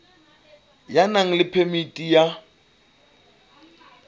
ya nang le phemiti ya